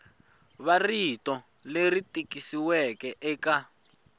wa rito leri tikisiweke eka